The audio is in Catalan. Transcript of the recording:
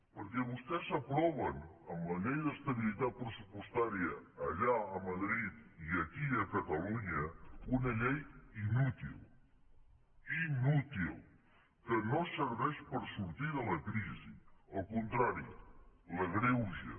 perquè vostès aproven amb la llei d’estabilitat pressupostària allà a madrid i aquí a catalunya una llei inútil inútil que no serveix per sortir de la crisi al contrari l’agreuja